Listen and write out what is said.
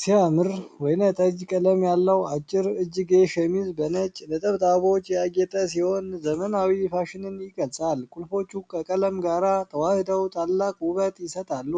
ሲያምር! ወይን ጠጅ ቀለም ያለው፣ አጭር እጅጌ ሸሚዝ በነጭ ነጠብጣቦች ያጌጠ ሲሆን፣ ዘመናዊ ፋሽንን ይገልጻል። ቁልፎቹ ከቀለም ጋር ተዋህደው ታላቅ ውበት ይሰጣሉ።